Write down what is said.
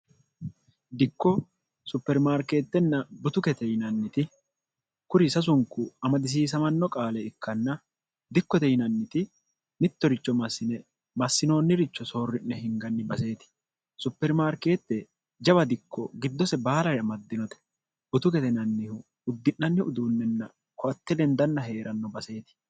dikko supermaarkeettenna butu kete yinanniti kuri sasunku amadisiisamanno qaale ikkanna dikkote yinanniti mittoricho massine massinoonniricho soorri'ne hinganni baseeti supermaarkeette jawa dikko giddose baalaamaddinote butu getenannihu uddi'nanniu uduunnenna koatte lendanna hee'ranno baseeti